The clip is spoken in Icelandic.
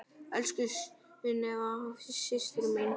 Elsku Sunneva systir mín.